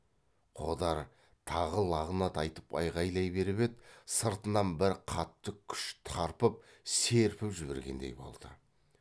қодар тағы лағнат айтып айғайлай беріп еді сыртынан бір қатты күш тарпып серпіп жібергендей болды